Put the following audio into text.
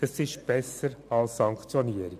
Diese sind besser als Sanktionierungen.